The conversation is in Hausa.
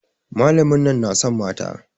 Malamin nan na son mata.